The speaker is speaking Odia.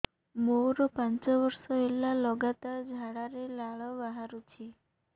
ମୋରୋ ପାଞ୍ଚ ବର୍ଷ ହେଲା ଲଗାତାର ଝାଡ଼ାରେ ଲାଳ ବାହାରୁଚି